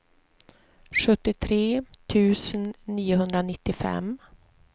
sjuttiotre tusen niohundranittiofem